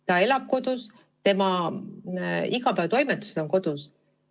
Ta elab kodus, ta teeb oma igapäevatoimetusi kodus.